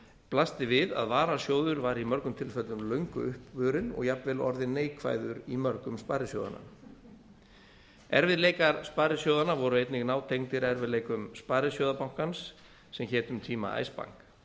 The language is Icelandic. blasti við að varasjóður var í mörgum tilfellum löngu uppurinn og jafnvel orðinn neikvæður í mörgum sparisjóðanna erfiðleikar sparisjóðanna voru einnig nátengdir erfiðleikum sparisjóðabankans sem hét um tíma icebank